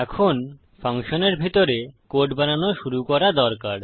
এখন ফাংশনের ভিতরে কোড বানানো শুরু করা দরকার